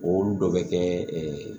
Olu dɔ bɛ kɛ